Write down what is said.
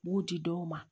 B'u di dɔw ma